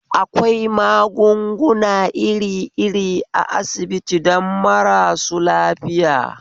Akwai magunguna irir iri a asibiti don marasu lafiya